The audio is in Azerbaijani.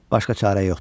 Başqa çarə yoxdur.